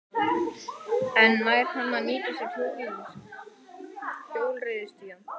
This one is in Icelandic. En nær hann að nýta sér hjólreiðastígana?